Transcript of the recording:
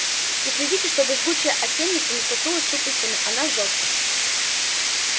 и следите чтобы жгучая антенница не коснулась щупальцами она жжётся